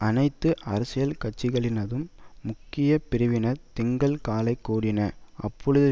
அனைத்து அரசியல் கட்சிளினதும் முக்கிய பிரிவினர் திங்கள் காலை கூடின அப்பொழுதில்